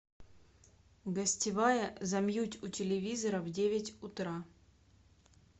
гостевая замьють у телевизора в девять утра